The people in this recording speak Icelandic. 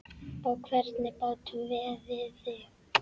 Á hvernig bátum veiðið þið?